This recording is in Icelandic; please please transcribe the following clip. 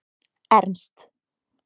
Ernst